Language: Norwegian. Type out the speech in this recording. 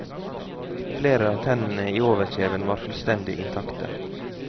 Flere av tennene i overkjeven var fullstendig intakte.